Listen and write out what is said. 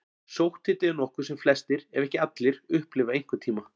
Sótthiti er nokkuð sem flestir, ef ekki allir, upplifa einhvern tíma.